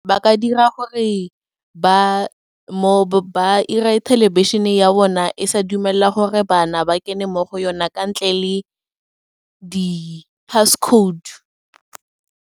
Ba ka dira gore ba ira e thelebišhene ya bona e sa dumela gore bana ba kene mo go yona kwa ntle le di-passcode.